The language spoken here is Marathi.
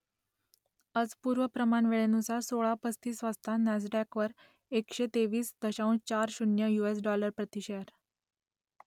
आज पूर्व प्रमाण वेळेनुसार सोळा पस्तीस वाजता नॅसडॅकवर एकशे तेवीस दशांश चार शून्य युएस डॉलर प्रति शेअर